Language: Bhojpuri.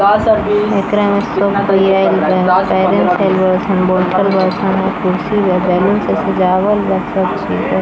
एकरे में शॉप खुली है बोल्ट कुर्सी बैलून से सजावल बा रखे--